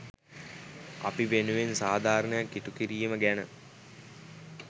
අපි වෙනුවෙන් සාධාරණයක් ඉටු කිරීම ගැන.